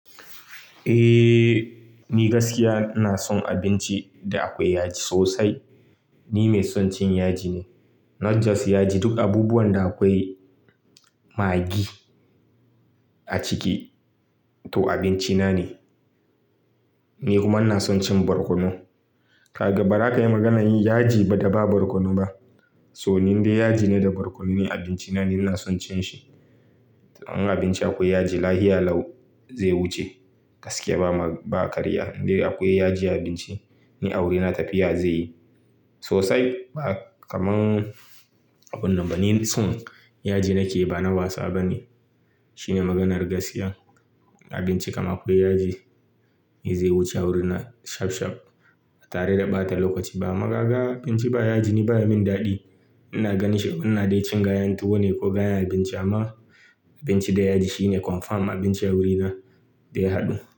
Eh, ni gaskiya ina son abinci da akwai yaji sosai. Ni mai son cin yaji ne. Not just yaji, duk abubuwan da akwai maggi a ciki to abinci na ne. Ni kuma ina son cin barkono. Ka ga ba za ka yi maganar yin yaji ba da ba barkono ba. So, ni dai yaji ne da barkono ne abinci na, ni ina son cin shi. In abinci akwai yaji, lahia lau zai wuce gaskiya ba karya. Inda akwai yaji a abinci, ni wuri na tafiya zai yi sosai. Ba kamar abin nan ba, ni son yaji nake ba na wasa ba ne. Shine maganar gaskiya. Abinci kama akwai yaji, zai wuce a wurin na shaf shaf. Ba tare da ɓata lokaci ba. Kuma kaga abinci ba yaji ni baya min daɗi. Ina ganin shi, ina dai cin gayan tuwo ne ko gayan abinci amma abinci da yaji shine confirm abinci wuri na daya haɗu.